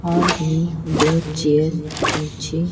और भी दो चेयर पीछे--